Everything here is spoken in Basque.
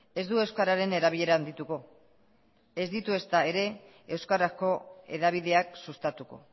ez du euskararen erabilera handituko ez ditu ezta ere euskarako hedabideak sustatuko